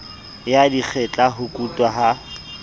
ya dikgetla ho kutwa ha